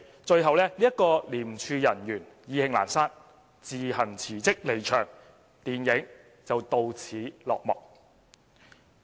最後該名廉署人員意興闌珊，自行辭職離場，電影到此落幕。